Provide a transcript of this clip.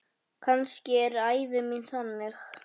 Kannski er ævi mín þannig.